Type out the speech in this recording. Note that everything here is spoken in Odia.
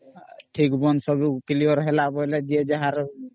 ଠିକ ବନ୍ଧୁ ସବୁ clear ହେଲା ବୋଲେ ଯିଏ ଯାହାର